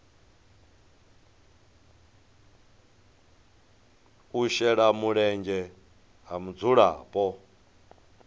u shela mulenzhe ha mudzulapo